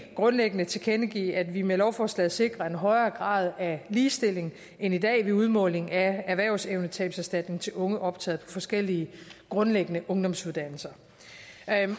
grundlæggende tilkendegive at vi med lovforslaget sikrer en højere grad af ligestilling end i dag ved udmåling af erhvervsevnetabserstatning til unge optaget på forskellige grundlæggende ungdomsuddannelser